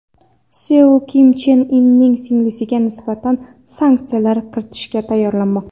Seul Kim Chen Inning singlisiga nisbatan sanksiyalar kiritishga tayyorlanmoqda.